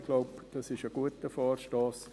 Ich glaube, das ist ein guter Vorstoss.